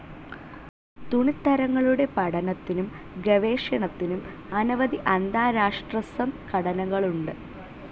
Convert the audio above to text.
തുണിത്തരങ്ങളുടെ പഠനത്തിനും ഗവേഷണത്തിനും അനവധി അന്താരാഷ്ട്രസംഘടനകളുണ്ട്.